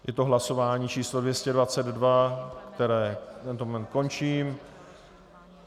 Je to hlasování číslo 222, které v tento moment končím.